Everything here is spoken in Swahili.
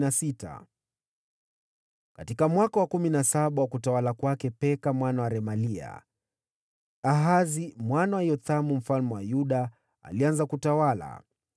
Katika mwaka wa kumi na saba wa utawala wa Peka mwana wa Remalia, Ahazi mwana wa Yothamu mfalme wa Yuda alianza kutawala.